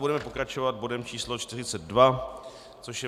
Budeme pokračovat bodem číslo 42, což je